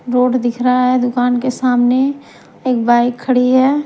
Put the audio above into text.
Road दिख रहा है दुकान के सामने एक बाइक खड़ी है।